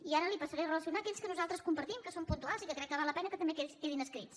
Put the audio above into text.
i ara li passaré a relacionar aquells que nosaltres compartim que són puntuals i que crec que val la pena que també quedin escrits